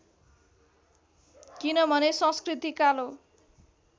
किनभने संस्कृति कालो